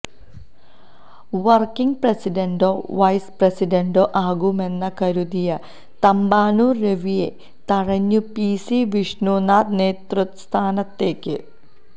working പ്രസിഡന്റോ vice പ്രസിഡന്റോ ആകുമെന്ന് കരുതിയ തമ്പാനൂർ രവിയെ തഴഞ്ഞ് പിസി വിഷ്ണുനാഥ് നേതൃസ്ഥാനത്തേക്ക്